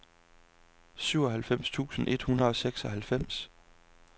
syvoghalvtreds tusind et hundrede og seksoghalvfems